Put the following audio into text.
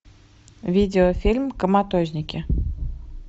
видеофильм коматозники